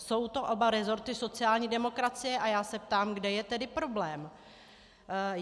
Jsou to oba rezorty sociální demokracie a já se ptám, kde je tedy problém.